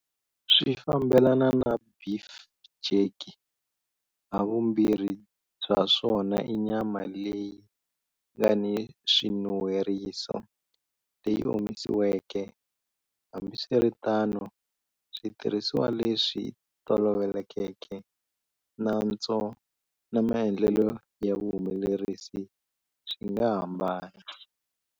Swi fambelana na beef jerky, havumbirhi bya swona i nyama leyi nga ni swinun'hweriso, leyi omisiweke, hambiswiritano switirhisiwa leswi tolovelekeke, nantswo, na maendlelo ya vuhumelerisi swi nga hambana.